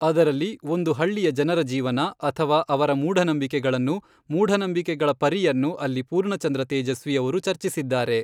ಅದರಲ್ಲಿ ಒಂದು ಹಳ್ಳಿಯ ಜನರ ಜೀವನ ಅಥವಾ ಅವರ ಮೂಢನಂಬಿಕೆಗಳನ್ನು ಮೂಢನಂಬಿಕೆಗಳ ಪರಿಯನ್ನು ಅಲ್ಲಿ ಪೂರ್ಣಚಂದ್ರ ತೇಜಸ್ವಿ ಅವರು ಚರ್ಚಿಸಿದ್ದಾರೆ.